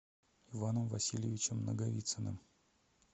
иваном васильевичем наговицыным